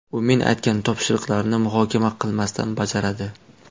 U men aytgan topshiriqlarni muhokama qilmasdan bajaradi.